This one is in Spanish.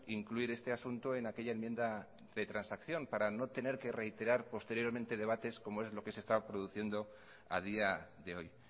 incluir este asunto en aquella enmienda de transacción para no tener que reiterar posteriormente debates como es lo que se está produciendo a día de hoy